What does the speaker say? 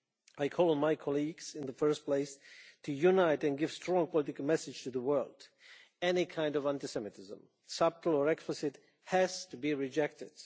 I call on my colleagues, in the first place, to unite and give a strong political message to the world any kind of anti Semitism, subtle or explicit, has to be rejected.